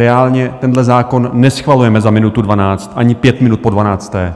Reálně tenhle zákon neschvalujeme za minutu dvanáct, ani pět minut po dvanácté,